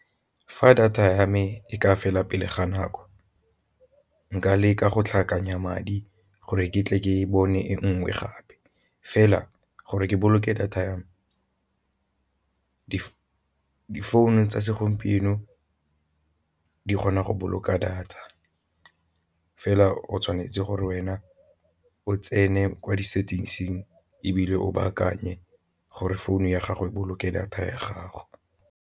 Fa data ya me e ka fela pele ga nako nka leka go tlhakanya madi gore ke tle ke bone e nngwe gape, fela gore ke boloke data ya me di phone tsa segompieno di kgona go boloka data fela o tshwanetse gore wena o tsene kwa di-settings-ing ebile o baakanye gore founu ya gago boloke data ya gago.